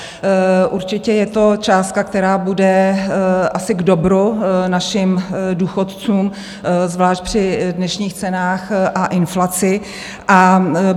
Určitě je to částka, která bude asi k dobru našim důchodcům, zvlášť při dnešních cenách a inflaci.